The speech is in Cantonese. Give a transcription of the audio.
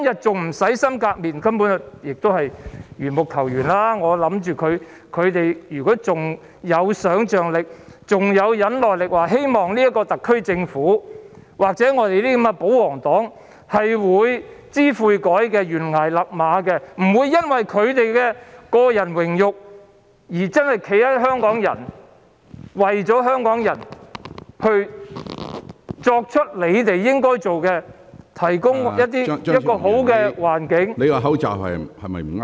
這根本就是緣木求魚，如果大家仍然有想象力和忍耐力，希望特區政府官員或保皇黨會知悔改，懸崖勒馬，不會因為他們的個人榮辱而站在香港人的一方，為香港人做應該做的事，提供好的環境......